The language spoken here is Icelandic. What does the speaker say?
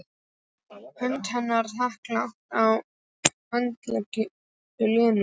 Hönd hennar þakklát á handlegg Lenu.